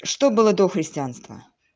что было до христианства